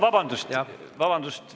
Vabandust!